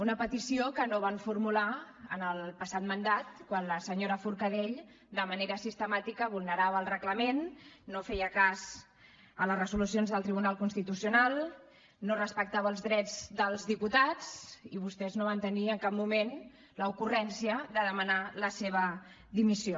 una petició que no van formular en el passat mandat quan la senyora forcadell de manera sistemàtica vulnerava el reglament no feia cas a les resolucions del tribunal constitucional no respectava els drets dels diputats i vostès no van tenir en cap moment l’ocurrència de demanar la seva dimissió